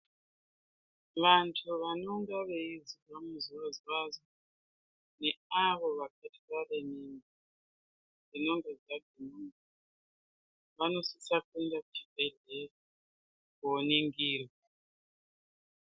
Vantu vanonga veizwa muzwazwa neavo vakatware mimba dzinenge dzadzimba vanosisa kuenda kuchibhendlera kooningirwa.